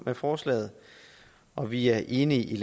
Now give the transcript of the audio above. med forslaget og vi er enige